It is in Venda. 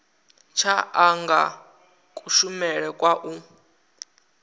tsha anga kushumele kwa u